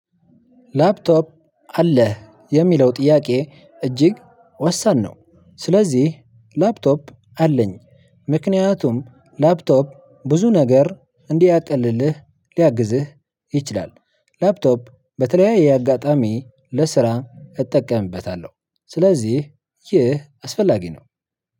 ላፕቶፕ አለህ የሚለው ጥያቄ እጅግ ወሳኝ ነው፣ ስለዚህ ላፕቶፕ አለኝ። ምክንያቱም ላፕቶፕ ብዙ ነገር እንዲያቀልልህ ሊያግዝህ ይችላል። ላፕቶፕ በተለያየ አጋጣሚ ለስራ እጠቀምበታለሁ፤ ስለዚህ ይህ አስፈላጊ ነው።